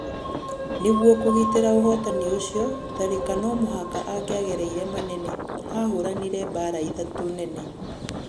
Nĩguo kũgitĩra ũhotani ũcio, Tharĩka no mũhaka angĩagereire manene, ahũranire mbara ithatũ nene.